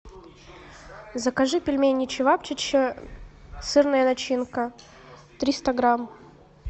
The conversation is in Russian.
закажи пельмени чевапчичи сырная начинка триста грамм